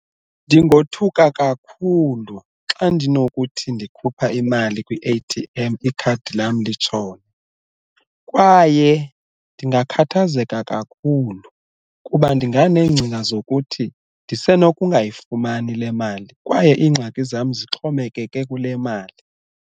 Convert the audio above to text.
Ndingothuka kakhulu xa ndinokuthi ndikhupha imali kwi-A_T_M ikhadi lam litshone, kwaye ndingakhathazeka kakhulu kuba ndinganeengcinga zokuthi ndise nokungayifumani le mali kwaye iingxaki zam zixhomekeke kule mali.